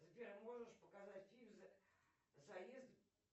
сбер а можешь показать фильм заезд